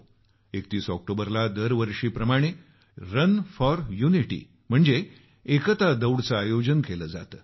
31 ऑक्टोबरला दरवर्षीप्रमाणे run for unity एकता दौडचं आयोजन केलं जात आहे